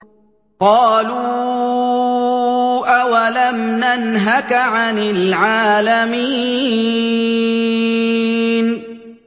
قَالُوا أَوَلَمْ نَنْهَكَ عَنِ الْعَالَمِينَ